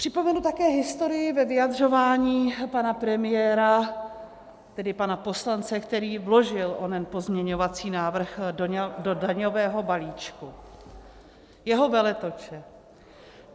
Připomenu také historii ve vyjadřování pana premiéra, tedy pana poslance, který vložil onen pozměňovací návrh do daňového balíčku, jeho veletoče.